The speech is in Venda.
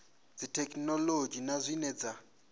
dza thekhinolodzhi na zwine dza